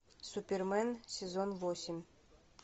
супермен сезон восемь